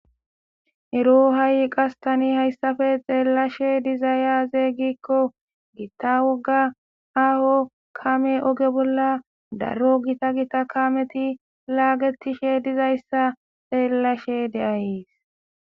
ero ha7i qastani hayssafe xeellashe dizay azeey gikko gitta woga aho kame oge bolla daro gita gita kameti laagetishe dizayssa xeellashe deayeis